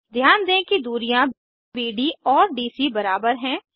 ध्यान दें कि दूरियां बीड और डीसी बराबर हैं